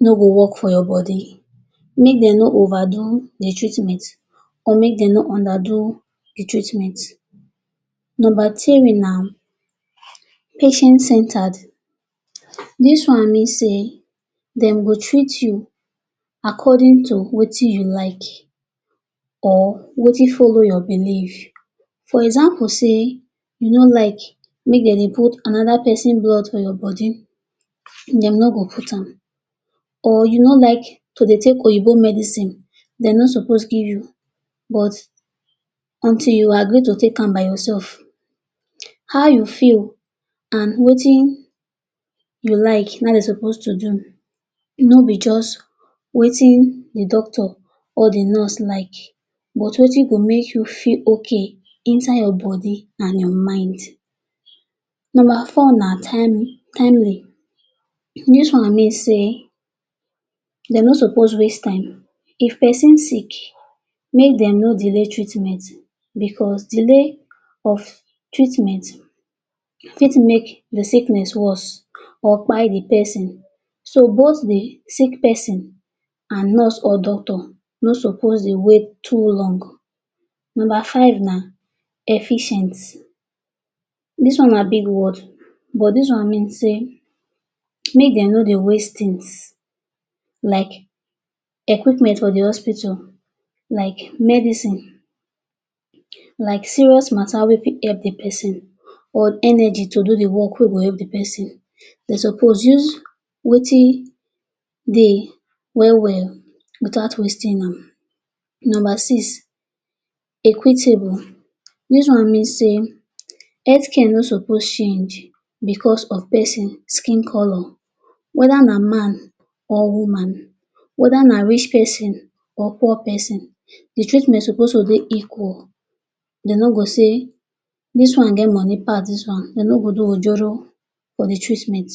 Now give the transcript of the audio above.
no go work for your body make dem no overdo dey treatment or make dem no underdo dey treatment. Number three na patient-centered dis one mean sey dem go treat you according to wetin you like or wetin follow your belief. For example sey u no like make dem dey put another pesin blood for your body dem no go put am or you no like to dey take oyibo medicine dem no suppose give you but until you agree to take am by yourself. How you feel and wetin you like na im dey suppose to do no be just wetin dey doctor or dey nurse like but wetin go make you feel okay inside your body and your mind. Number for na timely- dis one mean sey dem no suppose waste time if dey person sick make dem know dey real treatment delay of treatment fit make dey sickness worse or kpai dey person so both dey sick pesin and nurse or doctor no suppose dey wait too long. Number ffive na efficient- dis na big word but dis one mean sey make dem no dey waste things like equipment for dey hospital like medicine like serious matter fit help dey person or energy to do dey work wey go help dey person, dey suppose use wetin dey well well without wasting am. Number six equitable- dis one mean sey health care no suppose change because of pesin skin colour whether na man or woman, whether na rich pesin or poor pesin dey treatment suppose to dey equal, dey no go say dis one get money pass dis one, dey no go do ojoro for dey treatment.